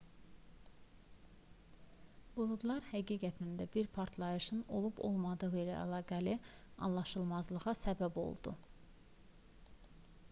buludlar həqiqətən də bir partlayışın olub-olmadığı ilə əlaqəli anlaşılmazlığa səbəb oldu